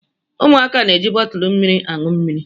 Ụmụaka na-eji bọtụlụ mmiri aṅụ mmiri.